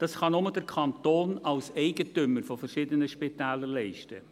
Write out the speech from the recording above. Dies kann nur der Kanton als Eigentümer von verschiedenen Spitälern leisten.